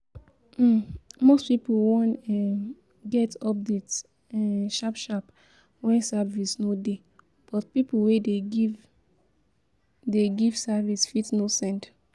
um Most pipo wan um get update um sharp sharp when service no dey, but pipo wey dey give dey give service fit no send